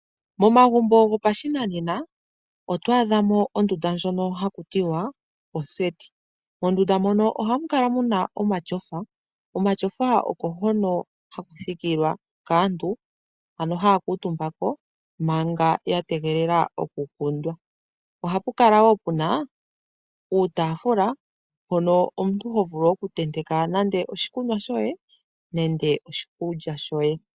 Momagumbo gopashinanena oto adhamo ondunda ndjono haku tiwa oseti. Mondunda ohamu kala muna omatyofa oko hono haku thikilwa kaantu ano haya kuutumbako manga ya tegelela oku kundwa. Ohapu kala wo puna uutaafula mbono omuntu ho vulu okutenteka nande oshikunwa shoye nenge oshikulya shoye.